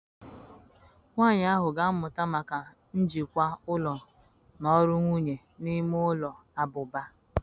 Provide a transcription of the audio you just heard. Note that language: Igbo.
Nwanyị ahụ ga-amụta maka njikwa ụlọ na ọrụ nwunye n'ime ụlọ abụba.